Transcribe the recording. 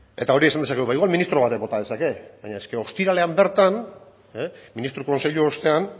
eta hori esan dezakegu ba igual ministro batek bota dezake baina eske ostiralean bertan ministro kontseilu ostean